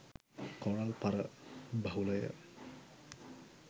Coral පර බහුලය.